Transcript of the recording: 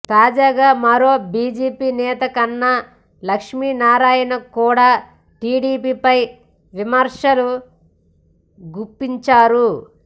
తాజాగా మరో బిజెపి నేత కన్నా లక్ష్మీనారాయణ కూడ టిడిపిపై విమర్శలు గుప్పించారు